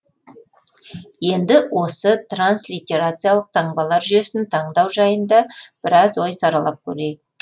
енді осы транслитерациялық таңбалар жүйесін таңдау жайында біраз ой саралап көрейік